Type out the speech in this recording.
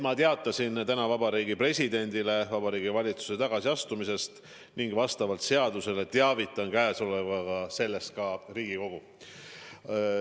Ma teatasin täna Vabariigi Presidendile Vabariigi Valitsuse tagasiastumisest ning vastavalt seadusele teavitan käesolevaga sellest ka Riigikogu.